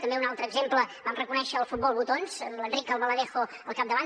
també un altre exemple vam reconèixer el futbol botons amb l’enric albaladejo al capdavant